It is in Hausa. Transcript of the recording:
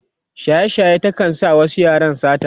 shaye shaye ta kan sa wasu yaran sata